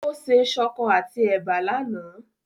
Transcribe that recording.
Ó se ṣọkọ àti ẹ̀bà lánàá.